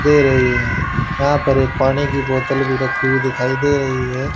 दे रही है यहां पर एक पानी की बोतल भी रखी हुई दिखाई दे रही है।